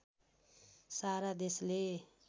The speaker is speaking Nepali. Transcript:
सारा देशले